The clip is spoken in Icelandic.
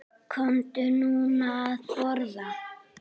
Komdu nú að borða